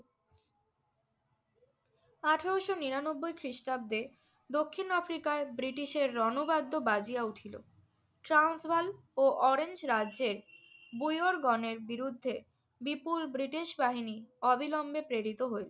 আঠারোশো নিরানব্বই খ্রিস্টাব্দে দক্ষিণ আফ্রিকায় ব্রিটিশের রণবাদ্য বাজিয়ে উঠিল। ট্রান্সভাল ও অরেঞ্জ রাজ্যে বৈওরগণের বিরুদ্ধে বিপুল ব্রিটিশ বাহিনী অবিলম্বে প্রেরিত হইল।